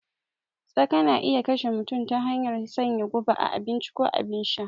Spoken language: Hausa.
Tsaka na iya kashe mutum ta hanyar sanya guba a abinci ko abin sha